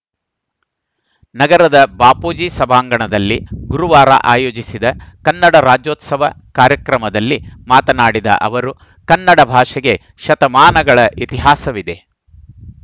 ನಗರದ ಬಾಪೂಜಿ ಸಭಾಂಗಣದಲ್ಲಿ ಗುರುವಾರ ಆಯೋಜಿಸಿದ ಕನ್ನಡ ರಾಜ್ಯೋತ್ಸವ ಕಾರ್ಯಕ್ರಮದಲ್ಲಿ ಮಾತನಾಡಿದ ಅವರು ಕನ್ನಡ ಭಾಷೆಗೆ ಶತಮಾನಗಳ ಇತಿಹಾಸವಿದೆ